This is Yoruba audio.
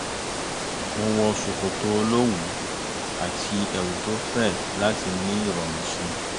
mo wọ ṣòkòtò olówùú àti ẹ̀wù tó fẹ̀ láti ní ìrọ̀rùn sí i